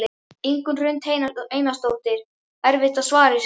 Ingunn Hrund Einarsdóttir: Erfitt að svara þessu?